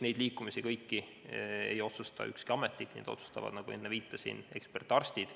Neid liikumisi ühelt astmelt teisele ei otsusta ükski ametnik, neid otsustavad, nagu ma enne viitasin, ekspertarstid.